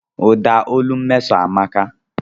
Ụda olu Mmeso amaka.